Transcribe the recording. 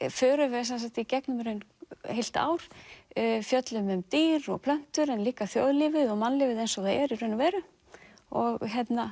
förum við í gegnum í raun heilt ár fjöllum dýr og plöntur en líka þjóðlífið og mannlífið eins og það er í raun og veru og